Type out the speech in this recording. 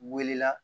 Wele la